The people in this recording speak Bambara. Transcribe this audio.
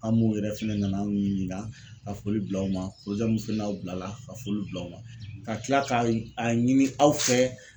A' m'u yɛrɛ fɛnɛ nana an ɲininka ka fɔli bil'aw ma min fana y'aw bilala ka foli bila u la ka kila ka a ɲini aw fɛ